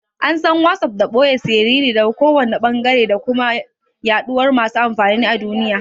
An san WhatsApp da ɓoye siriri daga kowanne ɓangare da kuma yaɗuwar masu amfani a duniya.